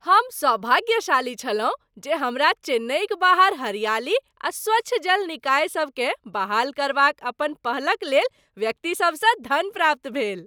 हम सौभाग्यशाली छलहुं जे हमरा चेन्नईक बाहर हरियाली आ स्वच्छ जल निकायसभकेँ बहाल करबाक अपन पहलक लेल व्यक्तिसभसँ धन प्राप्त भेल।